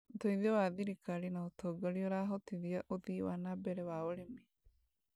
ũteithio wa thiriikari na ũtongoria ũrahotithia ũthii wa na mbere wa ũrĩmi